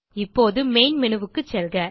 இப்போது மெயின் Menuக்கு செல்க